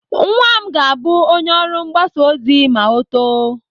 Nwa m ga-abụ onye ọrụ mgbasa ozi ma ọ too.